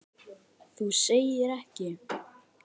Þú segir ekki!?!